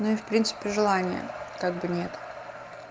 ну и в принципе желания как бы нет